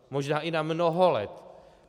Možná i na mnoho let.